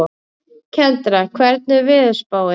Kendra, hvernig er veðurspáin?